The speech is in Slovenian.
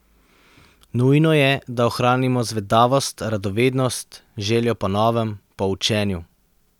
Nujno je, da ohranimo zvedavost, radovednost, željo po novem, po učenju.